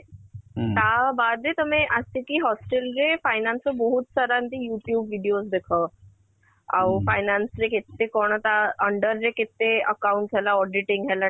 ତା ବାଦେ ତମେ ଆସିକି hostel ରେ finance ର ବହୁତ ସାରା ଏମିତି you tube videos ଦେଖ ଆଉ finance ରେ କେତେ କଣ ତା under ରେ କେତେ account ହେଲା , auditing ହେଲା